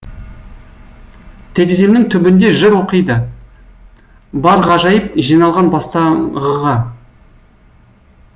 тереземнің түбінде жыр оқиды бар ғажайып жиналған бастаңғыға